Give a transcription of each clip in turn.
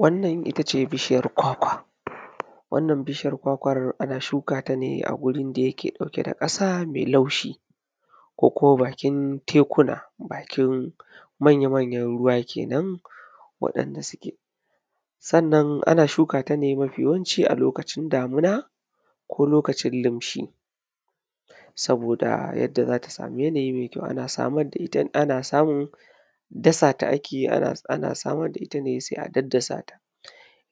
wannan ita ce bishiyar kwakwa wannan bishiyar kwakwa ana shuka ta ne a gurin da yake ɗauke da ƙasa mai laushii ko kuma bakin tekuna bakin manya manyan ruwa kenan waɗanda suke sannan ana shukata ne mayawanci a lokachin damina ko lokachin limshi saboda yadda za ta sami yanayin mai kyau ana samu dasa ta ake yi ana samar da ita ne sai a daddasa ta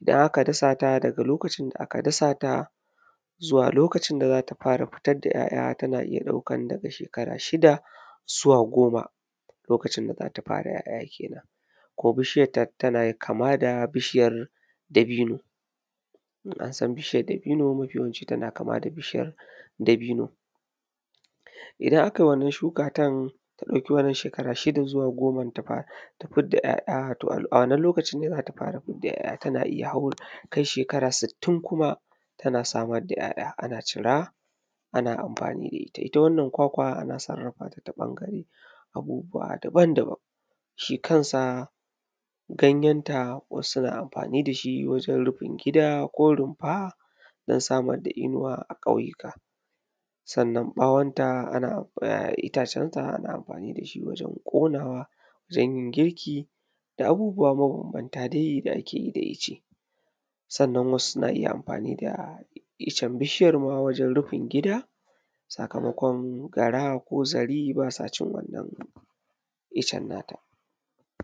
idan aka dasa ta daga lokacin da aka dasa ta zuwa lokacin da za ta fara fitar da ‘ya’ya ta na iya ɗaukan daga shekara shida zuwa goma lokacin da za ta fara ‘ya’ya kenan ko bishiyar ta na kama da bishiyar dabino in an san bishiyar dabino mafiyawanci tana kama da bishiyar dabino idan akai wannan Shukatan ta ɗauki shekara shida zuwa goma ta fidda ‘ya’ya to a wannan lokaci ne za ta fara fidda ‘ya’ya ta na iya ta kai shekara sittin kuma tana samar da ‘yaa’ya ana cira ana amfani da ita ita wannan kwakwa ana sarrafa ta ta ɓangare abubuwa daban daban shi kansa ganyan ta wasu na amfani da shi wajen rufin gida ko rumfa don samar da inuwa a ƙauyuka sannan ɓawonta ana iyajen ta ana amfani da shi wajen ƙonawa wajen yin girki da abubuwa mabanbanta dai da ake yi da itace sannan wasu na iya amfani da itacen bishiyar wajen rufin gida sakamakon gara ko zari baa sa shi itacen na ta